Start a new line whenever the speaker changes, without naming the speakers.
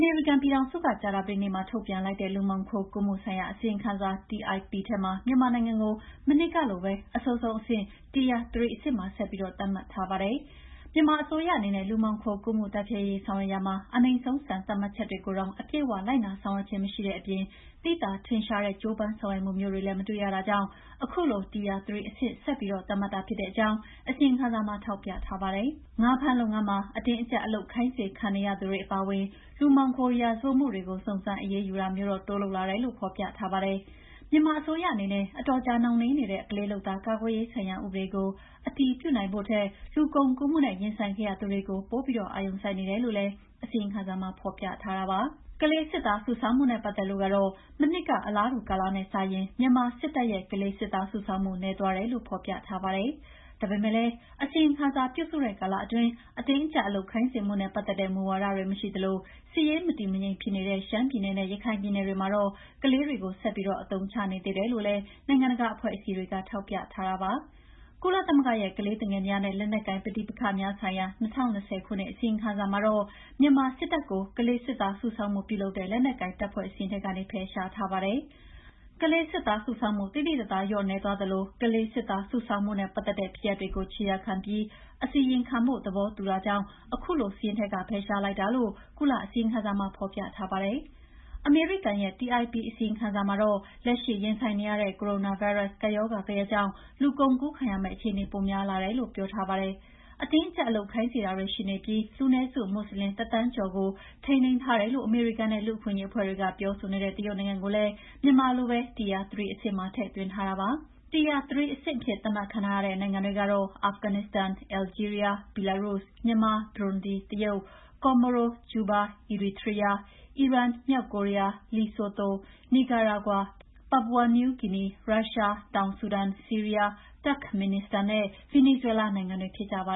မေရိကန်ပြည်ထောင်စုက ကြာသပတေးနေ့မှာ ထုတ်ပြန်လိုက်တဲ့ လူမှောင်ခိုကူးမှုဆိုင်ရာ အစီရင်ခံစာ (TIP) ထဲမှာ မြန်မာနိုင်ငံကို မနှစ်ကလိုပဲ အဆိုးဆုံးအဆင့် Tier 3 အဆင့်မှာ ဆက်ပြီးသတ်မှတ်ထားပါတယ်။ မြန်မာအစိုးရအနေနဲ့ လူမှောင်ခိုကူးမှု တိုက်ဖျက်ရေးဆောင်ရွက်ရာမှာ အနိမ့်ဆုံးစံ သတ်မှတ်ချက်တွေကိုတောင် အပြည့်အ၀ လိုက်နာဆောင်ရွက်ခြင်း မရှိတဲ့အပြင် သိသာ ထင်ရှားတဲ့ ကြိုးပမ်းဆောင်ရွက်ချက်မျိုးတွေလည်း မတွေ့ရတာကြောင့် အခုလို Tier 3 အဆင့် ဆက်ပြီး သတ်မှတ်တာဖြစ်တဲ့အကြောင်း အစီရင်ခံစာမှာ ထောက်ပြထားပါတယ်။ ငါးဖမ်းလုပ်ငန်းမှာ အတင်းအကြပ် အလုပ်ခိုင်းစေခံနေရသူတွေအပါအဝင် လူမှောင်ခိုရာဇဝတ်မှုတွေကို စုံစမ်းအရေးယူတာမျိုးတော့ တိုးလုပ်လာတယ်လို့ ဖော်ပြထားပါတယ်။ မြန်မာအစိုးရအနေနဲ့ အတော်ကြာနှောင့်နှေးနေတဲ့ ကလေးလုပ်သား ကာကွယ်ရေးဆိုင်ရာ ဥပဒေကိုအတည်ပြုဖို့ထက် လူကုန်ကူးမှုနဲ့ ရင်ဆိုင်ခဲ့ရသူတွေကို ပိုပြီး အာရုံစိုက်နေတယ်လို့လည်း အစီရင်ခံစာမှာ ဖော်ပြထားတာပါ။ ကလေးစစ်သား စုဆောင်းမှုနဲ့ ပတ်သက်လို့ကတော့ မနှစ်က အလားတူကာလနဲ့စာရင် မြန်မာစစ်တပ်ရဲ့ ကလေးစစ်သားစုဆောင်းမှု နည်းသွားတယ်လို့ ဖော်ပြထားပါတယ်။ ဒါပေမယ့်လည်း အစီရင်ခံစာပြုစုတဲ့ကာလအတွင်း အတင်းအကြပ်အလုပ်ခိုင်းစေမှုနဲ့ ပတ်သက်တဲ့ မူဝါဒတွေ မရှိသလို စစ်ရေးမတည်မငြိမ်ဖြစ်နေတဲ့ ရှမ်းပြည်နယ်နဲ့ ရခိုင်ပြည်နယ်တွေမှာတော့ကလေးတွေကိုဆက်ပြီး အသုံးချနေသေးတယ်လို့လည်း နိုင်ငံတကာအဖွဲ့အစည်းတွေက ထောက်ပြထားတာပါ။ ကုလသမဂ္ဂရဲ ့ကလေးသူငယ်များနဲ့ လက်နက်ကိုင် ပဋိပက္ခများဆိုင်ရာ ၂၀၂၀ ခုနှစ် အစီရင်ခံစာမှာတော့ မြန်မာစစ်တပ်ကို ကလေးစစ်သား စုဆောင်းမှု ပြုလုပ်တဲ့ လက်နက်ကိုင်တပ်ဖွဲ့ စာရင်းထဲကနေ ဖယ်ရှားထားတာပါ။ ကလေးစစ်သားစုဆောင်းမှု သိသိသာသာ လျော့နည်းသွားသလို ကလေးစစ်သား စုဆောင်းမှုနဲ့ ပတ်သက်တဲ့ ဖြစ်ရပ်တွေကို ခြေရာခံပြီး အစီရင်ခံဖို့ သဘောတူညီတာကြောင့် အခုလို စာရင်းထဲက ဖယ်ရှားလိုက်တာလို့ ကုလအစီရင်ခံစာမှာ ဖော်ပြထားပါတယ်။ အမေရိကန်ရဲ့ TIP အစီရင်ခံစာမှာတော့ လက်ရှိရင်ဆိုင်နေရတဲ့ ကိုရိုနာဗိုင်းရပ်စ်ကပ်ရောဂါဂယက်ကြောင့် လူကုန်ကူးခံရမယ့်အခြေအနေ ပိုများလာတယ်လို့ ပြောထားပါတယ်။ အတင်းအကြပ်အလုပ်ခိုင်းစေတာရှိနေပြီး လူနည်းစုမွတ်ဆလင် ၁,၀၀၀,၀၀၀ ကျော်ကို ထိန်းသိမ်းထားတယ်လို့ အမေရိကန်နဲ့ လူ့အခွင့်အရေးအဖွဲ့တွေ ပြောဆိုနေတဲ့ တရုတ်နိုင်ငံကိုလည်း မြန်မာလိုပဲ Tier 3 အဆင့်မှာ ထည့်သွင်းထားတာပါ။ Tier 3 အဆင့်အဖြစ် သတ်မှတ်ခံထားရတဲ့နိုင်ငံတွေကတော့ အာဖဂန်နစ္စတန်၊ အယ်လ်ဂျီးရီးယား၊ ဘီလာရုစ်၊ မြန်မာ၊ ဘရွန်ဒီ၊ တရုတ်၊ ကော်မိုရို၊ ကျူးဘား၊ အီရီထရီးယား၊ အီရန်၊ မြောက်ကိုရီးယား၊လီဆိုသို၊ နီကာရာဂွါ၊ ပါပူဝါ နယူးဂီနီ၊ ရုရှား၊ တောင်ဆူဒန်၊ ဆီးရီးယား၊ တပ်ခ် မင်နီစတန်နဲ့ ဗင်နီဇွဲလားနိုင်ငံတွေဖြစ်ကြပါ